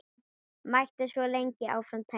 Mætti svo lengi áfram telja.